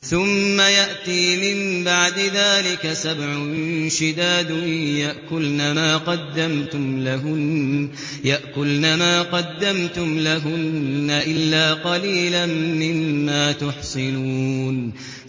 ثُمَّ يَأْتِي مِن بَعْدِ ذَٰلِكَ سَبْعٌ شِدَادٌ يَأْكُلْنَ مَا قَدَّمْتُمْ لَهُنَّ إِلَّا قَلِيلًا مِّمَّا تُحْصِنُونَ